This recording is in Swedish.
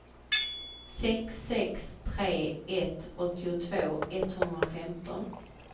sex sex tre ett åttiotvå etthundrafemton